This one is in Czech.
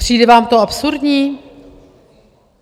Přijde vám to absurdní?